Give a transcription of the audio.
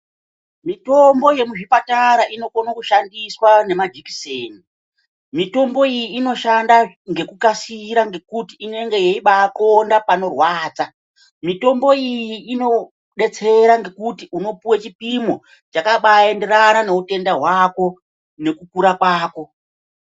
Mitombo yemuzvipatara inokona kushandiswa nemajikiseni mitombo iyi inobaashanda ngekukasira ngekuti inobaona panorwadza mitombo iyi Inodetsera ngekuti unopuwa chipimo chakaba enderana neutano hwako nekukira kwako.